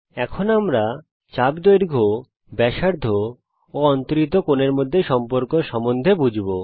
এখন আমরা চাপ দৈর্ঘ্য ব্যাসার্ধ ও অন্তরিত কোণের মধ্যে সম্পর্ক সম্বন্ধে বুঝব